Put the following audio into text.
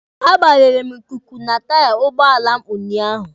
A gbanyere m ikuku na taiya n'ugbọala m ụnyaahụ.